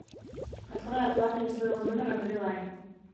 открой оплату не своего номера на билайн